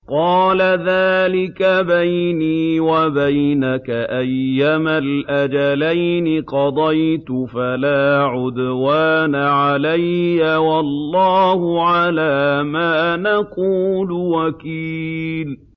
قَالَ ذَٰلِكَ بَيْنِي وَبَيْنَكَ ۖ أَيَّمَا الْأَجَلَيْنِ قَضَيْتُ فَلَا عُدْوَانَ عَلَيَّ ۖ وَاللَّهُ عَلَىٰ مَا نَقُولُ وَكِيلٌ